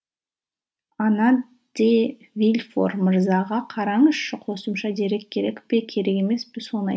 ана де вильфор мырзаға қараңызшы қосымша дерек керек пе керек емес пе соны